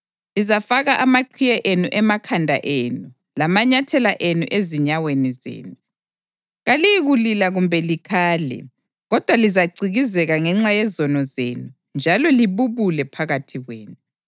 Lizafaka amaqhiye enu emakhanda enu lamanyathela enu ezinyaweni zenu. Kaliyikulila kumbe likhale kodwa lizacikizeka ngenxa yezono zenu njalo libubule phakathi kwenu.